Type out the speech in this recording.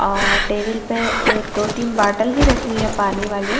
और टेबल पे ए-दो-तीन बॉटल भी रखी हुई है पानी वाली--